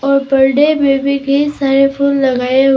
और बर्डे में भी कई सारे फूल लगाए हुए--